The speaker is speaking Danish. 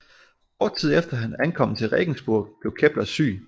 Kort tid efter han ankom til Regensburg blev Kepler syg